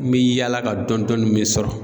N bɛ yaala ka dɔɔni dɔɔni min sɔrɔ.